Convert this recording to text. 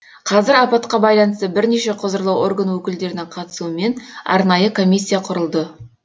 қазір апатқа байланысты бірнеше құзырлы орган өкілдерінің қатысуымен арнайы комиссия құрылды